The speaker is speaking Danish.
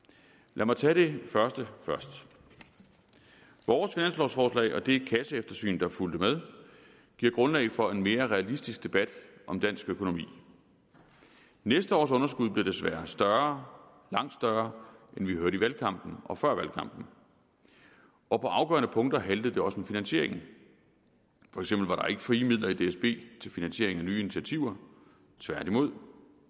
lad mig tage det første først vores finanslovforslag og det kasseeftersyn der fulgte med giver grundlag for en mere realistisk debat om dansk økonomi næste års underskud bliver desværre større langt større end vi hørte i valgkampen og før valgkampen og på afgørende punkter haltede det også med finansieringen for eksempel var der ikke frie midler i dsb til finansiering af nye initiativer tværtimod